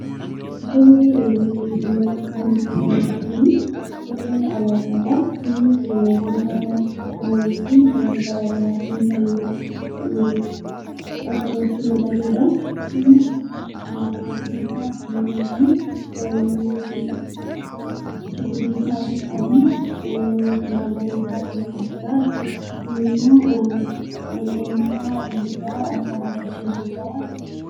Suurri nuti asitti arginu kun suuraa alaabaadha. Innis bifa yookiin halluu garaagaraatiin kan asirratti mul'atudha. Innis bifa diimaa, cuquliisa, adii fi magariisa kan qabudha jechuudha. Kunimmoo alaabaa biyyasaa kan agarsiisudha jechuudha.